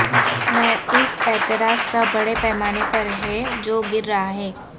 میں اس اعتراض کا بڑے پیمانے پر ہے جو گر رہا ہے